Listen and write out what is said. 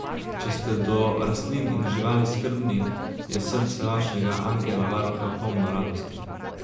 Če ste do rastlin in živali skrbni, je srce vašega angela varuha polno radosti.